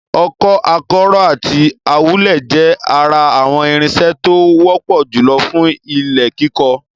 Ọkọ́, akọ́rọ́ àti awúlẹ̀ jẹ́ ara àwọn irinṣẹ́ tó wọ́pọ̀ jùlọ fún ilẹ̀ kíkọ.